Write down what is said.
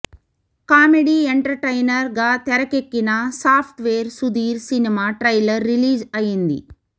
comedy entertainer గా తెరకెక్కిన software Sudheer cinema trailer release అయ్యింది